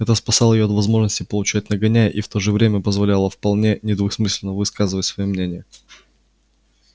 это спасало её от возможности получить нагоняй и в то же время позволяло вполне недвусмысленно высказывать своё мнение